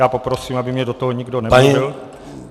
Já poprosím, aby mi do toho nikdo nemluvil.